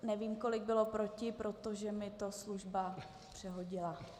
Nevím, kolik bylo proti, protože mi to služba přehodila.